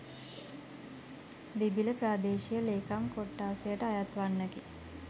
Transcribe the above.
බිබිල ප්‍රාදේශීය ලේකම් කොට්ඨාසයට අයත් වන්නකි.